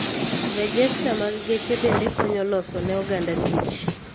Rejesta mar geche bende konyo loso ne oganda tich